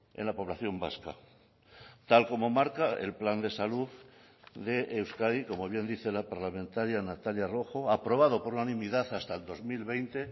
en la población vasca tal como marca el plan de salud de euskadi como bien dice la parlamentaria natalia rojo aprobado por unanimidad hasta el dos mil veinte